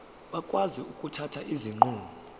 bakwazi ukuthatha izinqumo